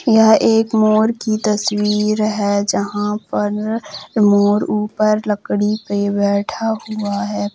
यह एक मोर की तस्वीर है जहां पर मोर ऊपर लकड़ी पर बैठा हुआ है।